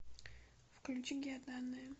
включи геоданные